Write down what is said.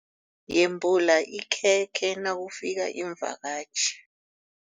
Yembula ikhekhe nakufika iimvakatjhi.